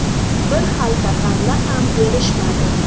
Bir xalta g‘alla ham berishmadi.